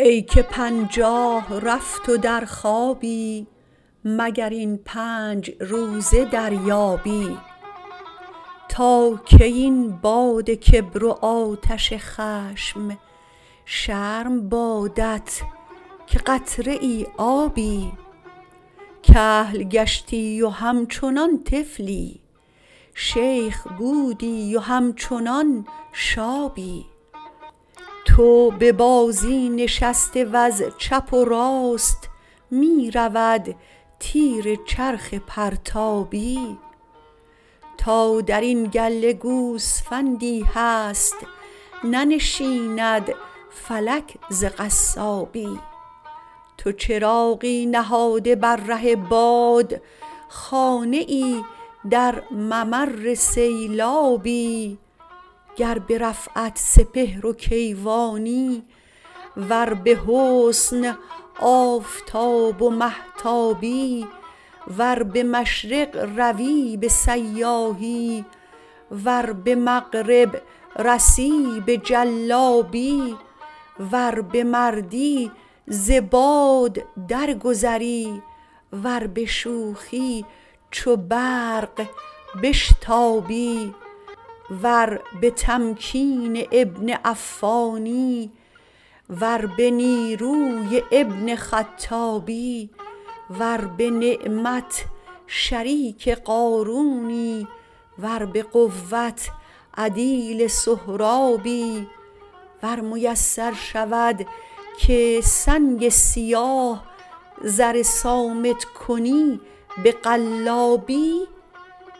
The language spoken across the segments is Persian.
ای که پنجاه رفت و در خوابی مگر این پنج روزه دریابی تا کی این باد کبر و آتش خشم شرم بادت که قطره آبی کهل گشتی و همچنان طفلی شیخ بودی و همچنان شابی تو به بازی نشسته و ز چپ و راست می رود تیر چرخ پرتابی تا درین گله گوسفندی هست ننشیند فلک ز قصابی تو چراغی نهاده بر ره باد خانه ای در ممر سیلابی گر به رفعت سپهر و کیوانی ور به حسن آفتاب و مهتابی ور به مشرق روی به سیاحی ور به مغرب رسی به جلابی ور به مردی ز باد درگذری ور به شوخی چو برف بشتابی ور به تمکین ابن عفانی ور به نیروی ابن خطابی ور به نعمت شریک قارونی ور به قوت عدیل سهرابی ور میسر شود که سنگ سیاه زر صامت کنی به قلابی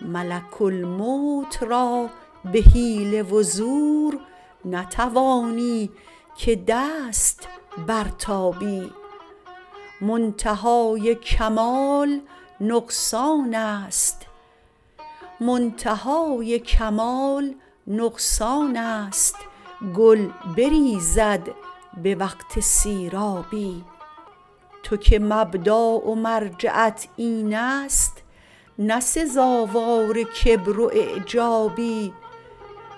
ملک الموت را به حیله و زور نتوانی که دست برتابی منتهای کمال نقصانست گل بریزد به وقت سیرابی تو که مبدا و مرجعت اینست نه سزاوار کبر و اعجابی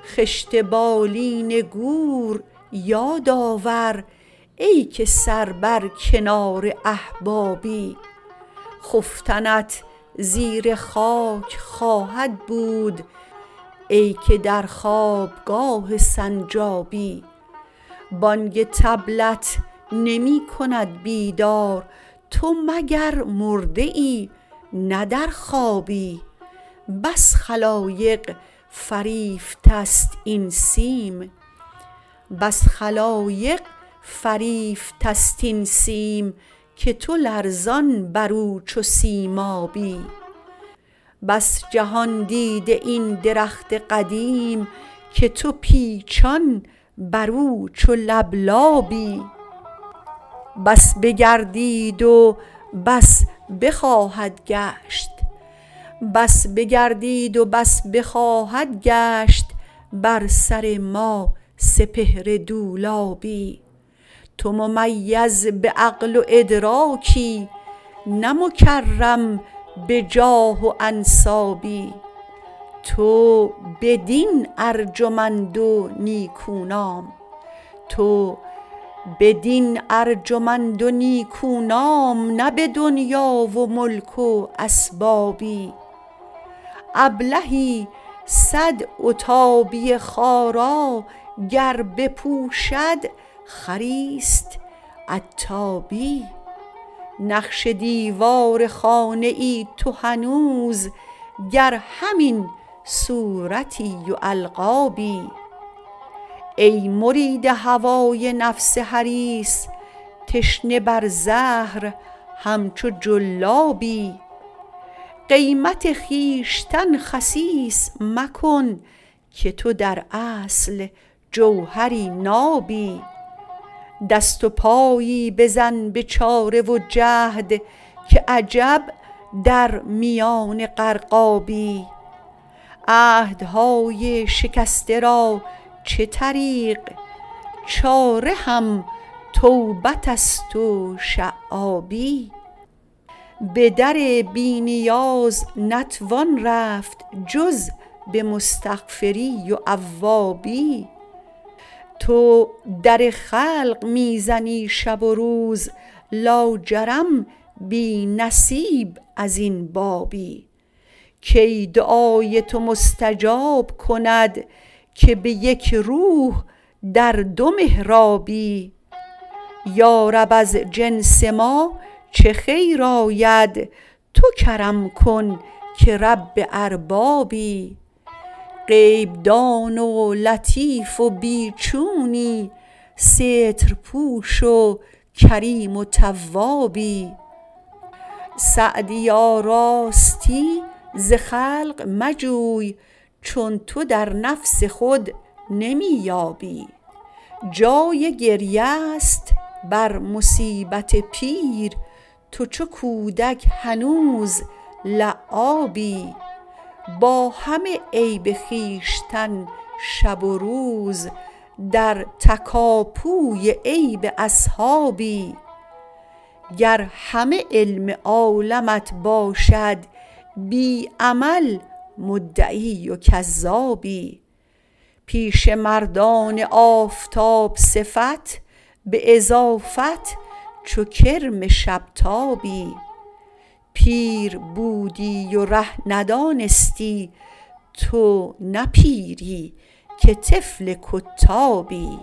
خشت بالین گور یاد آور ای که سر بر کنار احبابی خفتنت زیر خاک خواهد بود ای که در خوابگاه سنجابی بانگ طبلت نمی کند بیدار تو مگر مرده ای نه در خوابی بس خلایق فریفتست این سیم که تو لرزان برو چو سیمایی بس جهان دیده این درخت قدیم که تو پیچان برو چو لبلابی بس بگردید و بس بخواهد گشت بر سر ما سپهر دولابی تو ممیز به عقل و ادراکی نه مکرم به جاه و انسابی تو به دین ارجمند و نیکونام نه به دنیا و ملک و اسبابی ابلهی صد عتابی خارا گر بپوشد خریست عتابی نقش دیوار خانه ای تو هنوز گر همین صورتی و القابی ای مرید هوای نفس حریص تشنه بر زهر همچو جلابی قیمت خویشتن خسیس مکن که تو در اصل جوهری نابی دست و پایی بزن به چاره و جهد که عجب در میان غرقابی عهدهای شکسته را چه طریق چاره هم توبتست و شعابی به در بی نیاز نتوان رفت جز به مستغفری و اوابی تو در خلق می زنی شب و روز لاجرم بی نصیب ازین بابی کی دعای تو مستجاب کند که به یک روح در دو محرابی یارب از جنس ما چه خیر آید تو کرم کن که رب اربابی غیب دان و لطیف و بی چونی سترپوش و کریم و توابی سعدیا راستی ز خلق مجوی چون تو در نفس خود نمی یابی جای گریه ست بر مصیبت پیر تو چو کودک هنوز لعابی با همه عیب خویشتن شب و روز در تکاپوی عیب اصحابی گر همه علم عالمت باشد بی عمل مدعی و کذابی پیش مردان آفتاب صفت به اضافت چو کرم شب تابی پیر بودی و ره ندانستی تو نه پیری که طفل کتابی